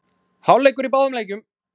Hálfleikur í báðum leikjum